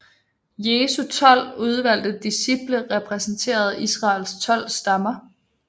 Jesu tolv udvalgte disciple repræsenterede Israels tolv stammer